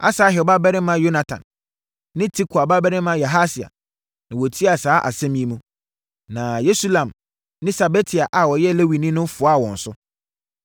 Asahel babarima Yonatan ne Tikwa babarima Yahasia na wɔtiaa saa asɛm yi mu, na Mesulam ne Sabetai a ɔyɛ Lewini no foaa wɔn so.